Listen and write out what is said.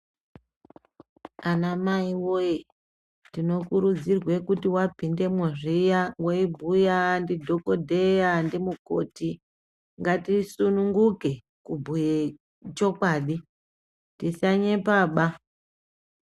Anamai wee , tinokurudzirwe kuti wapindemwo zviya weibhuya ndidhokodheya ndimukoti, ngatisununguke kubhuye chokwadi, tisanyepaba.